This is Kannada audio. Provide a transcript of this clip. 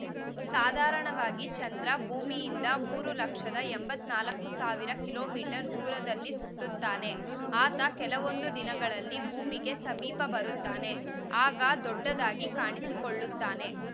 ಸಾಧಾರಣವಾಗಿ ಚಂದ್ರ ಭೂಮಿಯಿಂದ ಮೂರು ಲಕ್ಷದ ಎಂಬತ್ತ್ ನಾಲ್ಕು ಸಾವಿರದ ಕಿಲೋ ಮೀಟರ್ ದೂರದಲ್ಲಿ ಸುತ್ತುತ್ತಾನೆ ಆತ ಕೆಲವೊಂದು ದಿನಗಳಲ್ಲಿ ಭೂಮಿಗೆ ಸಮೀಪ ಬರುತ್ತಾನೆ ಆಗ ದೊಡ್ಡದಾಗಿ ಕಾಣಿಸಿಕೊಳ್ಳುತ್ತಾನೆ